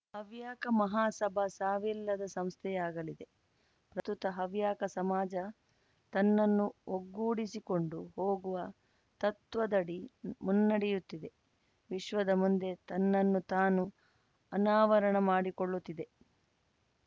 ಹವ್ಯಕ ಮಹಾಸಭಾ ಸಾವಿಲ್ಲದ ಸಂಸ್ಥೆಯಾಗಲಿ ಪ್ರಸ್ತುತ ಹವ್ಯಕ ಸಮಾಜ ತನ್ನನ್ನು ಒಗ್ಗೂಡಿಸಿಕೊಂಡು ಹೋಗುವ ತತ್ವದಡಿ ಮುನ್ನಡೆಯುತ್ತಿದೆ ವಿಶ್ವದ ಮುಂದೆ ತನ್ನನ್ನು ತಾನು ಅನಾವರಣ ಮಾಡಿಕೊಳ್ಳುತ್ತಿದೆ